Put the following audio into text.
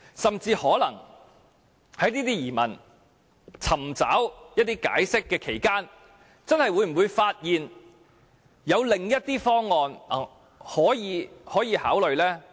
甚至在我們就這些疑問尋求解釋期間，政府會否發現有另一些方案可以考慮？